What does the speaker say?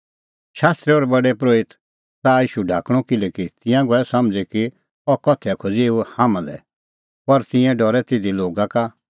शास्त्री और प्रधान परोहितै च़ाहअ ईशू ढाकणअ किल्हैकि तिंयां गऐ समझ़ी कि अह उदाहरण बोलअ एऊ हाम्हां लै पर तिंयां डरै तिधी लोगा का